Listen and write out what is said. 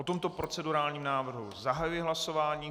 O tomto procedurálním návrhu zahajuji hlasování.